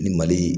Ni mali